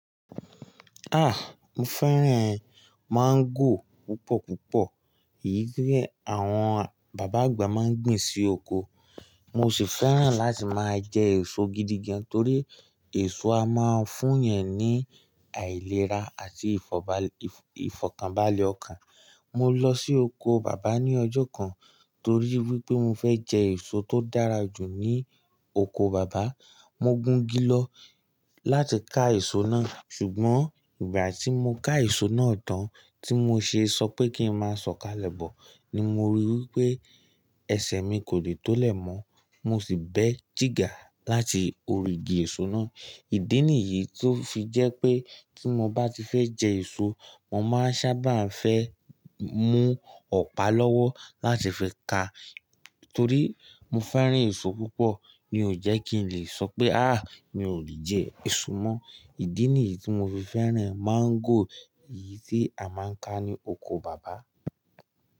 Mo fẹ́ràn mango púpọ̀ púpọ̀, èyí tí àwọn bàbá àgbà máa ń gbìn sí oko. Mo sì fẹ́ràn láti máa jẹ èso gidigan torí èso a máa ń fún yẹn ní àìlera àti ìfọ̀kànbalẹ̀ ọkàn. Mo lọ sí oko bàbá ní ọjọ́ kan torí wípé mo fẹ́ jẹ èso tó dára jù ní oko bàbá. Mo gùn gí lọ láti ká èso náà, ṣùgbọ́n ìgbà tí mo ká èso náà tán tí mo ṣe sọ pé kí n máa sọ̀kalẹ̀ bọ̀ ni mo ríi wípé ẹsẹ̀ mi kò lè tó lè mọ́. Mo sì bẹ́ jígà láti orí igi èso náà. Ìdí nìyí tó fi jẹ́ pé tí mo bá ti fẹ́ jẹ èso, mo máa sábà fẹ́ mú ọ̀pá lọ́wọ́ láti fi ka torí mo fẹ́ràn èso púpọ̀ mi ò jẹ́ kí n lè sọ pé "ah mi ò lè jẹ èso mọ". Ìdí nìyí tí mo fi fẹ́ràn mango yìí tí a máa ń ká ní oko bàbá.